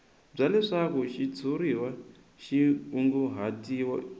bya leswaku xitshuriwa xi kunguhatiwile